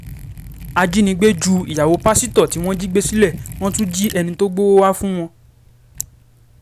ajínigbé ju ìyàwó pásítọ̀ tí wọ́n jí gbé sílé wọ́n tún jí ẹni tó gbowó wàá fún wọn